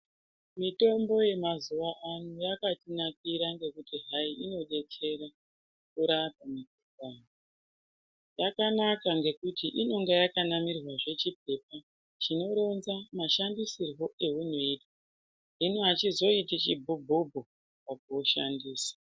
Mitombo yemazuwano yakatinakira ngokuti hai inodetsera kurapa vantu. Yakanaka ngokuti inenge yakanamirwazve chipepa chinoronza mashandisirwo eunoizwa hino hachizoiti chibhubhu mukuushandisa.